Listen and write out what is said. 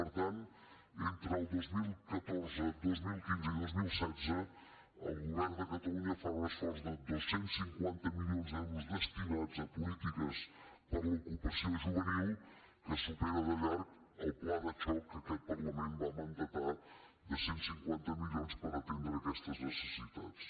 per tant entre el dos mil catorze dos mil quinze i dos mil setze el govern de catalunya farà un esforç de dos cents i cinquanta milions d’euros destinats a polítiques per a l’ocupació juvenil que supera de llarg el pla de xoc que aquest parlament va manar de cent i cinquanta milions per atendre aquestes necessitats